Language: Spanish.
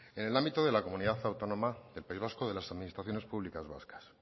en el ámbito de la comunidad autónoma del país vasco de las administraciones públicas vascas